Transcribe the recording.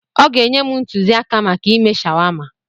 Ọ ga-enye m ntụzịaka maka ịme shawama.